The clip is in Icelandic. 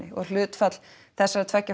og hlutfall þessara tveggja